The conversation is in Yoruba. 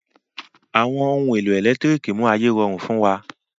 Àwọn ohun èlò ẹ̀lẹ́tírìkì mú ayé rọrùn fún wa.